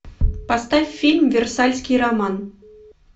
поставь фильм версальский роман